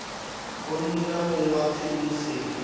go nna mong wa tshedimosetso